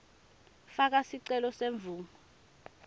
faka sicelo semvumo